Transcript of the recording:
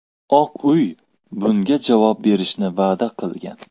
Oq uy bunga javob berishni va’da qilgan.